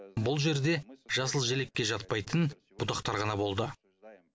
бұл жерде жасыл желекке жатпайтын бұтақтар ғана болды